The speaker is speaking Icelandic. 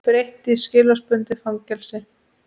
Breytt í skilorðsbundið fangelsi